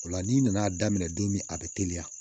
O la n'i nan'a daminɛ don min a bɛ teliya